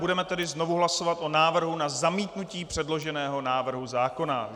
Budeme tedy znovu hlasovat o návrhu na zamítnutí předloženého návrhu zákona.